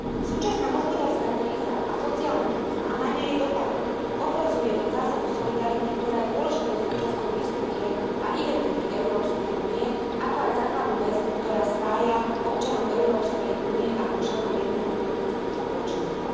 Súčasná hospodárska kríza a sociálna kríza, a najmä jej dopady, ohrozuje zásadu solidarity, ktorá je dôležitou súčasťou histórie a identity Európskej únie, ako aj základnú väzbu, ktorá spája občanov Európskej únie ako členov jedného politického spoločenstva.